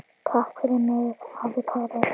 Takk fyrir mig, afi Kári.